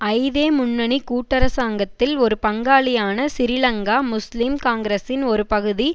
ஐதேமுன்னணி கூட்டரசாங்கத்தில் ஒரு பங்காளியான சிறிலங்கா முஸ்லிம் காங்கிரசின் ஒரு பகுதி